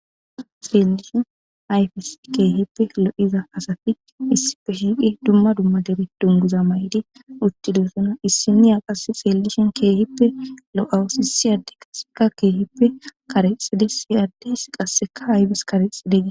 seellishin hayfis keehippe lo7iza asafi issipfe shiiqi dumma dumma debe dunguza maydi uttidosuna issi niya qass xeellishen keehippe lo7awus isi adde kaseka keehippe karexi de si addes qasseka haybis karix dege